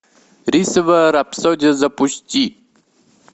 рисовая рапсодия запусти